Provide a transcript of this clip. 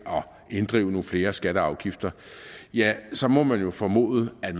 inddrive nogle flere skatter og afgifter så må man jo formode at